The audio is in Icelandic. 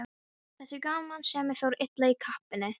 Þessi gamansemi fór illa í kappann.